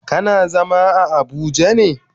Kana zama a abuja ne?